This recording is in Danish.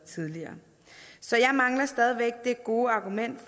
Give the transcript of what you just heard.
sige gode